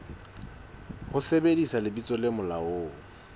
ho sebedisa lebitso le molaong